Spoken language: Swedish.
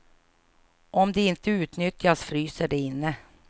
Om de inte utnyttjas, fryser de inne.